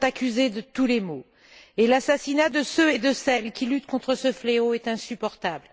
Les vaccins sont accusés de tous les maux et l'assassinat de ceux et de celles qui luttent contre ce fléau est insupportable.